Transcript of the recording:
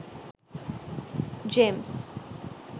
gems